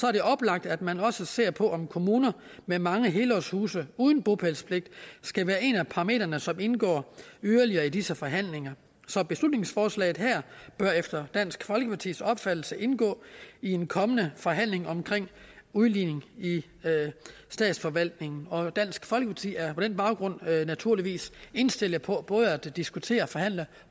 er det oplagt at man også ser på om kommuner med mange helårshuse uden bopælspligt skal være en af parametrene som indgår yderligere i disse forhandlinger så beslutningsforslaget her bør efter dansk folkepartis opfattelse indgå i en kommende forhandling omkring udligning i statsforvaltningen og dansk folkeparti er på den baggrund naturligvis indstillet på på at diskutere og forhandle